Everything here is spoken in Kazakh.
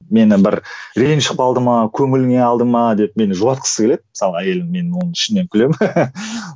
мені бір ренжіп қалды ма көңіліне алды ма деп мені жұбатқысы келеді мысалы әйелім мен оны ішімнен күлемін